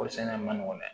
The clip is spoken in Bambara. Kɔɔrisɛnɛ man nɔgɔn dɛ